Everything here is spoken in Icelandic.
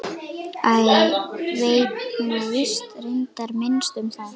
Ég veit nú víst reyndar minnst um það.